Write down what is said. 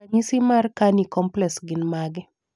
ranyisi mar Carney complex gin mage?